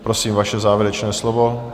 Prosím, vaše závěrečné slovo.